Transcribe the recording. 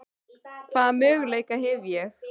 Hvaða möguleika hef ég?